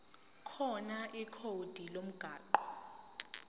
khona ikhodi lomgwaqo